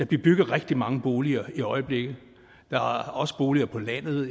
bliver bygget rigtig mange boliger i øjeblikket der er også boliger på landet